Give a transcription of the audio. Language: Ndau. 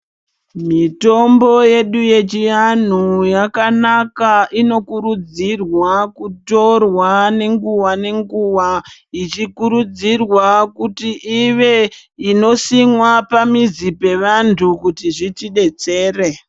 Mitombo yedu yechi anhu, yakanaka, inokurudzirwa kutorwa nenguwa nenguwa, ichikurudzirwa kuti ive inosimwa pamizi pevantu kuti zvitidetsere.